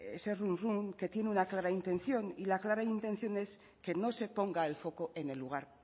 que tiene una clara intención y la clara intención es que no se ponga el foco en el lugar